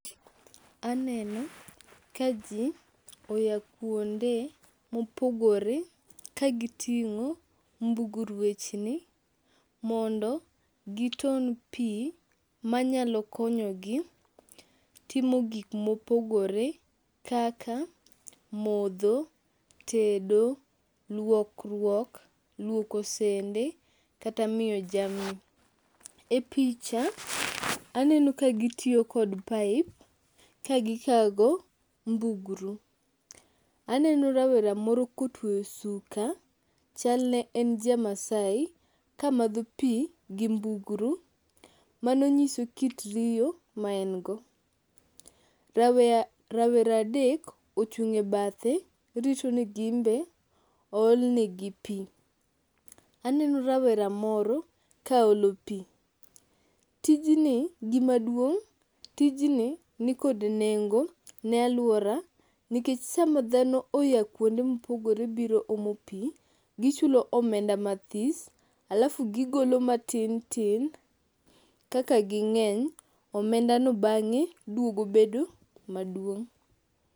Aneno ka ji oya kuonde mopogore kagiting'o mbugruechni mondo giton pi manyalo konyogi timo gik mopogore kaka modho, tedo, luokruok, luoko sende kata miyo jamni. E picha aneno ka gitiyo kod pipe ka gikago mbugru. Aneno rawera moro kotweyo suka chalne en jamaasai kamadho pi gi mbugru, mano nyiso kit riyo maengo. Rawera adek ochung' e bathe rito ni gimbe oolnegi pi. Aneno rawera moro kaolo pi. Gimaduong', tijni nikod nengo ne alwora nikech sama dhano oya kuonde mopogore biro omo pi, gichulo omenda mathis alafu gigolo matintin kaka ging'eny omenda no bang'e duogo bedo maduong'.